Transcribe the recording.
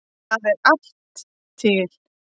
Það er allt til.